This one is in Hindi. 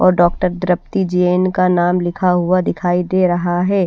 और डॉक्टर द्रप्ती जैन का नाम लिखा हुआ दिखाई दे रहा है।